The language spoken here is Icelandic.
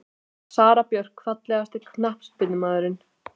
Sara Björk Fallegasti knattspyrnumaðurinn?